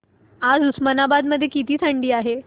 आज उस्मानाबाद मध्ये किती थंडी आहे